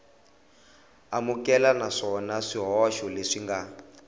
amukeleka naswona swihoxo leswi nga